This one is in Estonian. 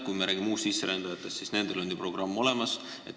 Kui me räägime uussisserändajatest, siis nendele on ju programm olemas.